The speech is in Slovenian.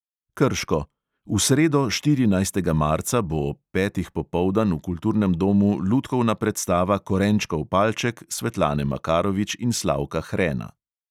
Krško – v sredo, štirinajstega marca, bo ob petih popoldan v kulturnem domu lutkovna predstava korenčkov palček svetlane makarovič in slavka hrena.